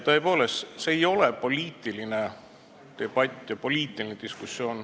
Tõepoolest, see ei ole poliitiline debatt, poliitiline diskussioon.